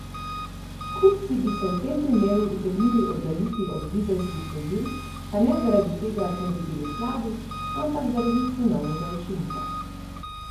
Kupci bi se v tem primeru utegnili oddaljiti od dizelskih vozil, pa ne zaradi tega, ker bi bili slabi, ampak zaradi cenovnega učinka.